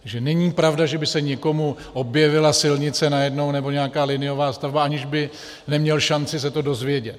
Takže není pravda, že by se někomu objevila silnice najednou nebo nějaká liniová stavba, aniž by neměl šanci se to dozvědět.